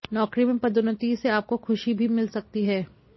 नौकरी में पदोन्नति से आपको खुशी भी मिल सकती है